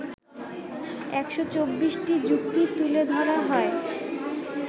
১২৪টি যুক্তি তুলে ধরা হয়